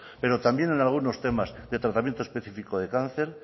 pero también en algunos temas de tratamiento específico de cáncer